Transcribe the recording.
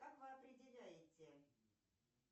как вы определяете